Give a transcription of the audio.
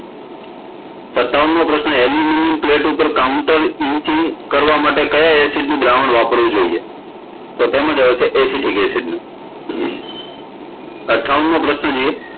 સતાવનમો પ્રશ્ન aluminum plate ઉપર Counteretching કરવા માટે કયા acid નું દ્રાવણ વાપરવું જોઈએ તો તેમા આવશે acetic acid નું અઠાવનમો પ્રશ્ન